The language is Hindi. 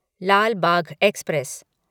लाल बाघ एक्सप्रेस